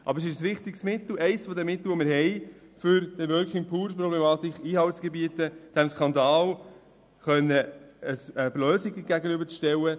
Aber es ist ein wichtiges Mittel, um der Problematik der Working Poor Einhalt zu gebieten und um diesem Skandal eine Lösung gegenüberzustellen.